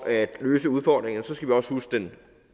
at løse udfordringerne skal vi også huske den